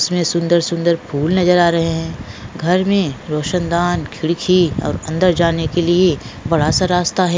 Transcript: इसमें सुंदर-सुंदर फूल नजर आ रहे हैं घर में रोशनदान खिड़की और अंदर जाने के लिए बड़ा सा रास्ता है।